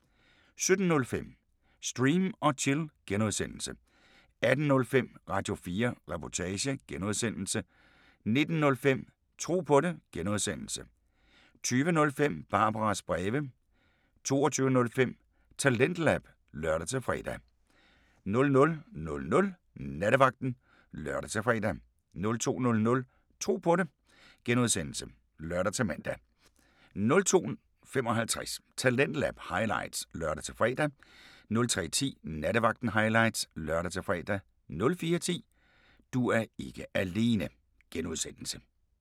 17:05: Stream & Chill (G) 18:05: Radio4 Reportage (G) 19:05: Tro på det (G) 20:05: Barbaras breve 22:05: TalentLab (lør-fre) 00:00: Nattevagten (lør-fre) 02:00: Tro på det (G) (lør-man) 02:55: Talentlab highlights (lør-fre) 03:10: Nattevagten highlights (lør-fre) 04:10: Du er ikke alene (G)